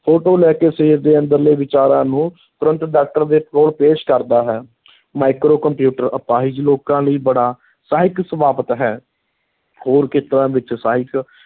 Photo ਲੈ ਕੇ ਸਰੀਰ ਦੇ ਅੰਦਰਲੇ ਵਿਚਾਰਾਂ ਨੂੰ ਤੁਰੰਤ doctor ਦੇ ਕੋਲ ਪੇਸ਼ ਕਰਦਾ ਹੈ micro ਕੰਪਿਊਟਰ ਅਪਾਹਿਜ ਲੋਕਾਂ ਲਈ ਬੜਾ ਸਹਾਇਕ ਸਾਬਤ ਹੈ ਹੋਰ ਖੇਤਰਾਂ ਵਿੱਚ ਸਹਾਇਕ